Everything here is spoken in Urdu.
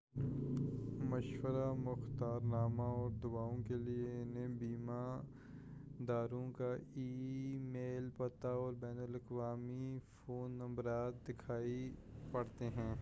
مشورہ / مختار نامہ اور دعوؤں کیلئے انہیں بیمہ داروں کا ای میل پتہ اور بین الاقوامی فون نمبرات دکھانے پڑتے ہیں